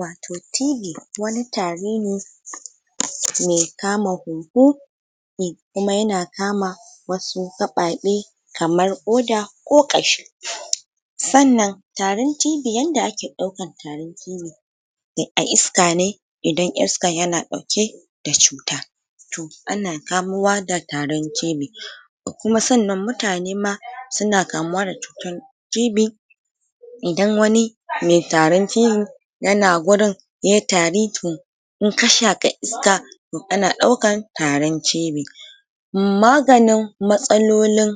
Watoh TB wani tari ne me kama hunhu me kuma ya na kama wasu kababe kamar koda ko kashi tsannan tarin TB yanda ake daukan tarin TB a iska ne idan iskan ya na dauke da cuta toh a na kamowa da tarin TB da kuma tsannan mutane ma su na kamuwa da cutan TB idan wani me tarin TB yana gurin yayi tari toh in ka shaka iska toh kana daukan tarin TB maganin matsalolin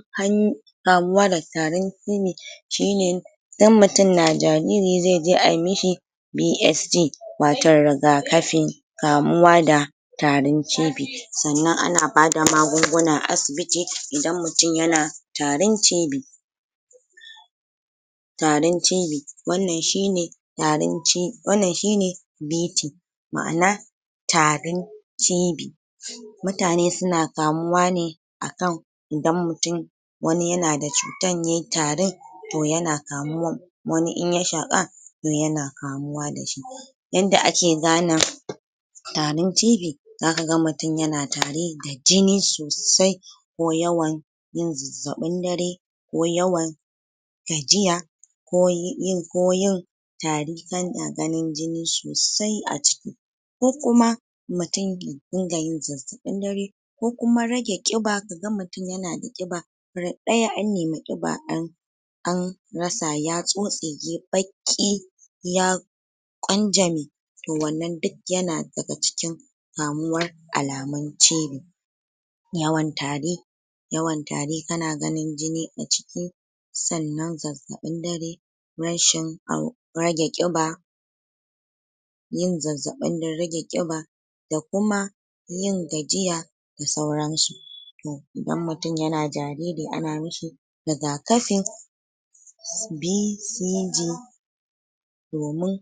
kamuwa da tarin TB shi ne idan mutum na jariri ze je ayi mishi BSG wa toh rigakafi kamuwa da tarin TB. Tsannan a na ba da magunguna a asibiti idan mutum ya na tarin TB Tarin TB, wannan shi ne tarin wannan shi ne BP maana tarin TB mutane su na kamuwa ne akan idan mutum wani ya na da cutan ya yi tarin to ya na kamuwan, wani in ya shaka ne ya na kamuwa dashi. Inda ake gane tarin TB, za ka gan mutum ya na tari da jini sosai, ko yawan yin zazabin dare, ko yawan gajiya ko ko yin tari ganin jini sosai a ciki ko kuma rin ga yin zazabin dare ko kuma rage kiba, ka ga mutum ya na da kiba radai an nemi kiba an an ratsa ya tsotse yayi baki ya kwanjame wannan duk ya na da ga cikin kamuwar alamun TB. Yawan tari yawan tari, ka na ganin jini a ciki sannan zazabin dare rashi rage kiba yin zazabin da rage kiba da kuma yin gajiya, da sauran su Toh idan mutum ya na jariri a na mishi rigakafi BCG domin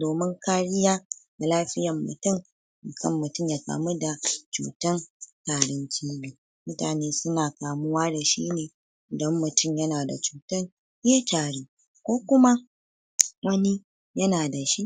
domin kariya da lafiyar mutum akan mutum ya kamu da cutan tarin TB. Mutane su na kamuwa da shi ne idan mutum ya na da cutan ya tari ko kuma wani ya na dashi.